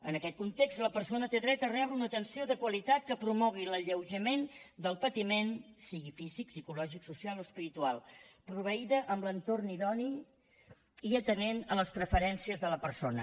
en aquest context la persona té dret a rebre una atenció de qualitat que promogui l’alleujament del patiment sigui físic psicològic social o espiritual proveïda amb l’entorn idoni i atenent les preferències de la persona